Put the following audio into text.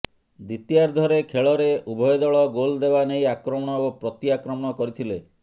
ଦ୍ବିତୀୟାର୍ଦ୍ଧ ଖେଳରେ ଉଭୟ ଦଳ ଗୋଲ ଦେବା ନେଇ ଆକ୍ରମଣ ଓ ପ୍ରତି ଆକ୍ରମଣ କରିଥିଲେ